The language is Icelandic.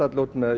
út með